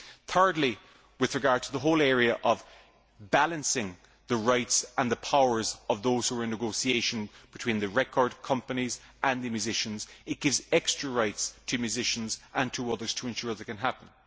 Thirdly, with regard to the whole area of balancing the rights and the powers of those who are in negotiation between the record companies and the musicians, it gives extra rights to musicians and to others to ensure this can happen.